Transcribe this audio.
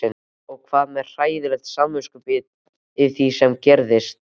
Og með hræðilegt samviskubit yfir því sem gerðist.